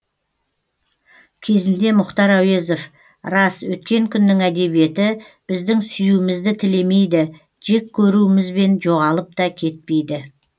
кезінде мұхтар әуезов рас өткен күннің әдебиеті біздің сүюімізді тілемейді жек көруімізбен жоғалып та кетпейді